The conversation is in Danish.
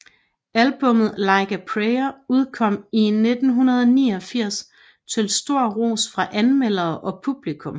Albummet Like a Prayer udkom i 1989 til stor ros fra anmeldere og publikum